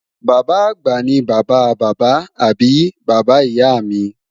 Bàbá-àgbà ni bàbá bàbá àbí bàbá ìyá mi